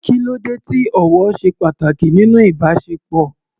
Kí ló dé tí ọ̀wọ̀ ṣe pàtàkì nínú ìbáṣepọ̀?